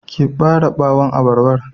Ki ɓare ɓawon abarbar.